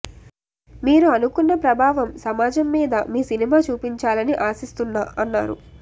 మీరు అనుకున్న ప్రభావం సమాజం మీద మీ సినిమా చూపించాలని ఆశిస్తున్నా అన్నారు